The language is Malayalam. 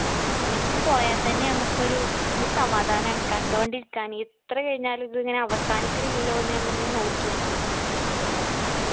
beach ക്ക് പോയ തന്നെ മ്മക്കൊരു ഒരു സമാധാനാണ് കണ്ടോണ്ടിരിക്കാന് എത്ര കഴിഞ്ഞാലും ഇതിങ്ങനെ അവസാനിക്കണില്ലല്ലോ ന്ന് നമ്മളിങ്ങനെ നോക്കിയിരിക്കും